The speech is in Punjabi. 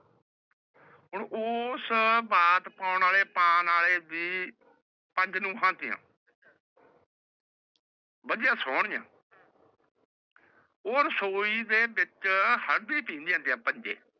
ਹੁਣ ਉਸ ਪੰਚ ਨੁਵਾ ਸੀਵੀ ਵਾਦਿਯ ਸੋਨਿਯਾ ਓਹੀ